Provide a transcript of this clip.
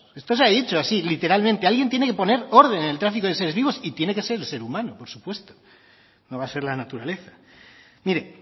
esto se ha dicho literalmente alguien tiene que poner orden en el tráfico de seres vivos y tiene que ser el ser humano por supuesto no va a ser la naturaleza mire